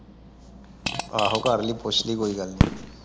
ਆਹੋ ਕਰ ਲਈ ਪੁੱਛ ਲਈ ਕੋਈ ਗੱਲ ਨਹੀ।